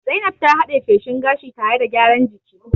Zainab ta had'e feshin gashi tare da gyaran jiki.